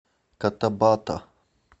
котабато